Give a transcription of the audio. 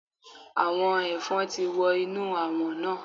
Àwọn Ẹ̀fọn ti wọ inú Àwọ̀n náà.